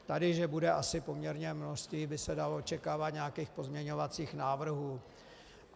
Tady že bude asi poměrně množství, by se dalo očekávat, nějakých pozměňovacích návrhů.